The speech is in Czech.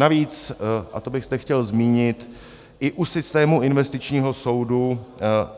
Navíc, a to bych zde chtěl zmínit, i u systému investičního soudu,